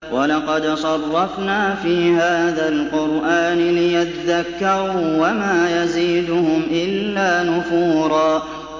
وَلَقَدْ صَرَّفْنَا فِي هَٰذَا الْقُرْآنِ لِيَذَّكَّرُوا وَمَا يَزِيدُهُمْ إِلَّا نُفُورًا